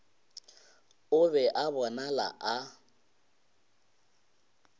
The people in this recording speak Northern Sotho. o be a bonala a